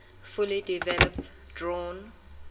fully developed drawn